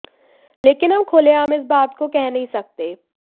लेकिन हम खुलेआम इस बात को कह नहीं सकते